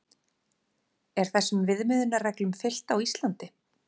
Er þessum viðmiðunarreglum fylgt á Íslandi?